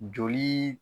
Joli